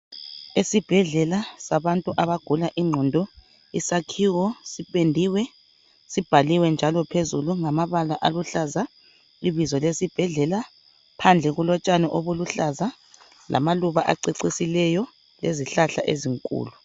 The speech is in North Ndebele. Esibhedlela sabantu abagula ingqondo, isakhiwo sipendiwe sibhaliwe njalo phezulu ngamabala aluhlaza ibizo lesibhedlela, phandle kulotshani obuluhlaza lamaluba acecisileyo lezihlahla ezinkulu.